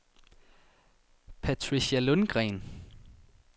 Patricia Lundgreen